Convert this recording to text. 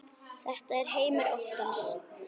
Þetta var heimur óttans.